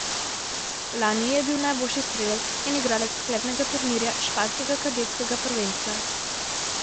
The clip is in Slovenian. Lani je bil najboljši strelec in igralec sklepnega turnirja španskega kadetskega prvenstva.